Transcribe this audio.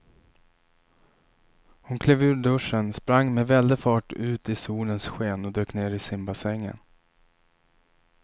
Hon klev ur duschen, sprang med väldig fart ut i solens sken och dök ner i simbassängen.